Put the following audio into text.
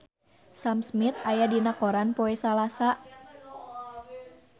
Sam Smith aya dina koran poe Salasa